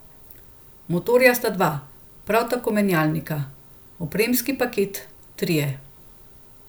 Motorja sta dva, prav tako menjalnika, opremski paketi trije.